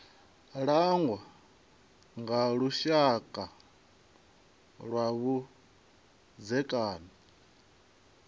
langwa nga lushaka lwa vhudzekani